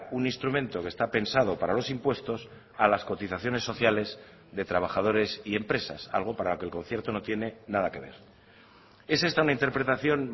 un instrumento que está pensado para los impuestos a las cotizaciones sociales de trabajadores y empresas algo para lo que el concierto no tiene nada que ver es esta una interpretación